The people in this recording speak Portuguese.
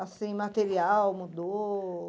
Assim, material mudou?